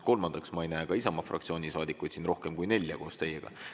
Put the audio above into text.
Kolmandaks, ma ei näe ka Isamaa fraktsiooni saadikuid siin rohkem kui nelja koos teiega.